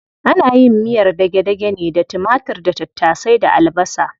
Ana yin miyar dage-dage ne da timatir da tattasai da albasa.